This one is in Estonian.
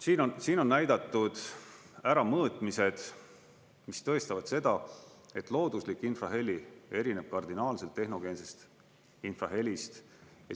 Siin on näidatud ära mõõtmised, mis tõestavad seda, et looduslik infraheli erineb kardinaalselt tehnogeensest infrahelist.